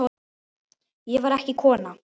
Ég var ekki kona!